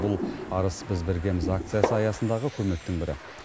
бұл арыс біз біргеміз акция аясындағы көмектің бірі